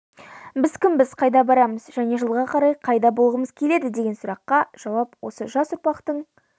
біз кімбіз қайда барамыз және жылға қарай қайда болғымыз келеді деген сұрақтарға жауап осы жас ұрпақтың